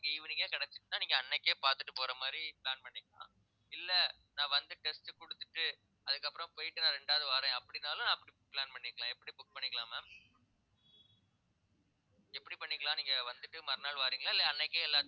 evening ஏ கிடைச்சுச்சுன்னா நீங்க அன்னைக்கே பாத்துட்டு போற மாதிரி plan பண்ணிக்கலாம் இல்ல நான் வந்து test குடுத்துட்டு அதுக்கப்பறம் போயிட்டு நான் ரெண்டாவது வாறேன் அப்படின்னாலும் அப்படி plan பண்ணிக்கலாம் எப்படி book பண்ணிக்கலாம் ma'am எப்படி பண்ணிக்கலாம் நீங்க வந்துட்டு மறுநாள் வாரீங்களா இல்லை அன்னைக்கே எல்லாத்தையும்